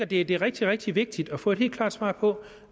det er rigtig rigtig vigtigt at få et helt klart svar på